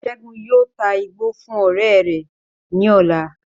Segun yóò tá igbó fún ọrẹ rẹ ní ọ̀la